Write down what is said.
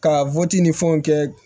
Ka ni fɛnw kɛ